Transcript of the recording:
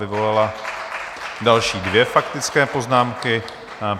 ... vyvolala další dvě faktické poznámky.